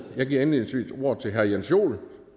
jeg giver indledningsvis ordet til herre jens joel